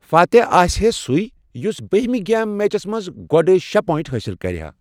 فاتح آسِہا سُے یس بہمہ گیم میچس منٛز گۄڈٕ شےٚ پۄینٛٹ حٲصِل کَرِہا۔